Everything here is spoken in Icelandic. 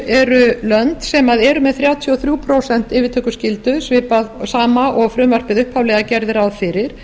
eru lönd sem eru með þrjátíu og þrjú prósent yfirtökuskyldu svipað sama og frumvarpið upphaflega gerði ráð fyrir